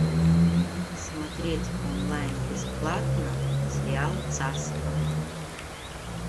смотреть онлайн бесплатно сериал царство